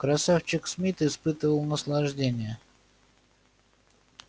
красавчик смит испытывал наслаждение